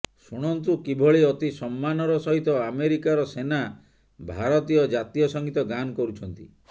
ଶୁଣନ୍ତୁ କିଭଳି ଅତି ସମ୍ମାନର ସହିତ ଆମେରିକାର ସେନା ଭାରତୀୟ ଜାତୀୟ ସଙ୍ଗୀତ ଗାନ କରୁଛନ୍ତି